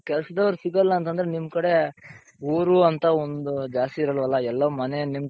ಕೆಲಸದವರು ಸಿಗಲ್ಲ ಅಂತoದ್ರೆ ನಿಮ್ ಕಡೆ ಊರು ಅಂತ ಒಂದ್ ಜಾಸ್ತಿ ಇರಲ್ವಲ್ಲ ಎಲ್ಲಾ ಮನೆ ನಿಮ್,